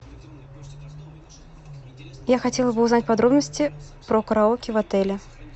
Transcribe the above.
я хотела бы узнать подробности про караоке в отеле